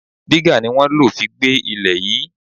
Diga ni wọ́n lo fi gbé ilẹ̀ yìí.